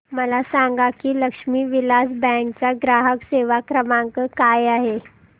मला सांगा की लक्ष्मी विलास बँक चा ग्राहक सेवा क्रमांक काय आहे